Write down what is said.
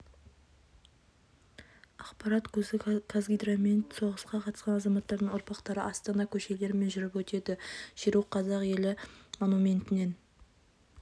ақпарат көзі қазгидромет жж соғысқа қатысқан азаматтардың ұрпақтары астана көшелерімен жүріп өтеді шеру қазақ елі монументінен